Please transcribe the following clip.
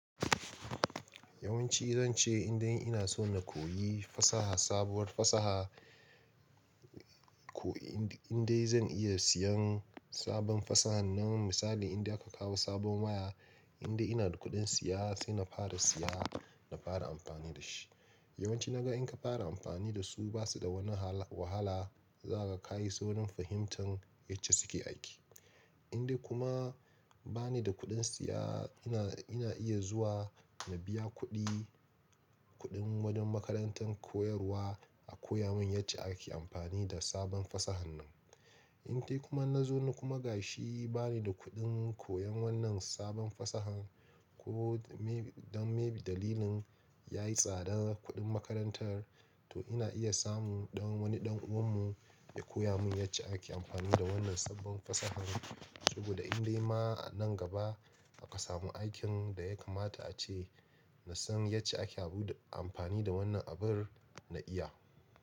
Yawanci zan ce in dai ina so na koyi fasaha, sabuwar fasaha, ko in dai zan iya siyan sabon fasaha nan misali in dai aka kawo sabon waya, in dai ina da kuɗin siya sai na fara siya, na fara amfani da shi. Yawanci na ga in ka fara amfani da su ba su da wani wahala, za ka kayi saurin fahimtan yace suke aiki. In dai kuma bani da kuɗin siya ina, ina iya zuwa na biya kuɗi, kuɗin wajen makarantar koyarwa a koya mun yace ake amfani da sabon fasahan nan. In dai kuma na zo na kuma gashi bani da kuɗin koyan wannan sabon fasahan ko me, don mebi dalilin yayi tsadar kuɗin makarantar to ina iya samu don wani ɗan uwan mu ya koya mun yace ake amfani da wannan sabbon fasahan. Saboda in dai ma a nan gaba aka samu aikin da ya kamata ace na san yace ake abu da amfani da wannan abin na iya.